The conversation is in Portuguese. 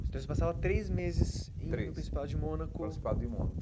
Então você passava três meses três indo ao Principado de Mônaco... Principado de Mônaco.